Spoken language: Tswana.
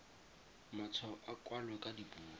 matshwao a kwalwe ka dipuo